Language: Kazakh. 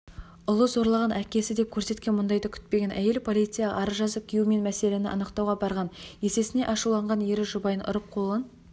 ұлы зорлаған әкесі деп көрсеткен мұндайды күтпеген әйел полицияға арыз жазып күйеуімен мәселені анықтауға барған есесіне ашуланған ері жұбайын ұрып қолын